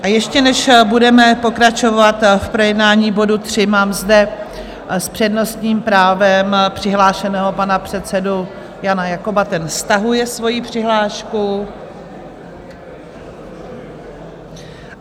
A ještě než budeme pokračovat v projednání bodu 3, mám zde s přednostním právem přihlášeného pana předsedu Jana Jakoba, ten stahuje svoji přihlášku.